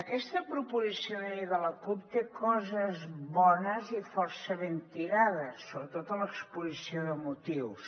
aquesta proposició de llei de la cup té coses bones i força ben tirades sobretot a l’exposició de motius